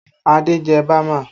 Adé jẹ bama